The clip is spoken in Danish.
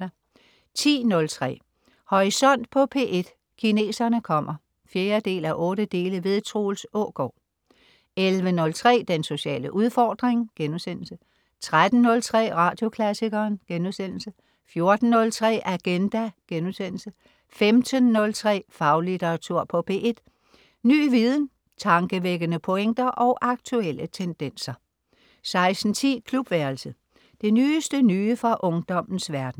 10.03 Horisont på P1: Kineserne kommer 4:8. Troels Aagard 11.03 Den sociale udfordring* 13.03 Radioklassikeren* 14.03 Agenda* 15.03 Faglitteratur på P1. Ny viden, tankevækkende pointer og aktuelle tendenser 16.10 Klubværelset. Det nyeste nye fra ungdommens verden